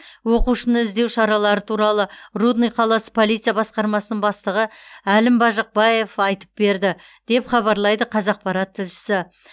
оқушыны іздеу шаралары туралы рудный қаласы полиция басқармасының бастығы әлім бажықбаев айтып берді деп хабарлайды қазақпарат тілшісі